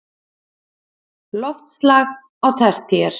Loftslag á tertíer